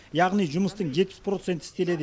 яғни жұмыстың жетпіс проценті істеледі